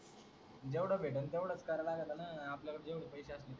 जेवढ भेटलं तेवढच कराय लागतना आपल्याकड जेवढे पैसे असतील